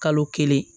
Kalo kelen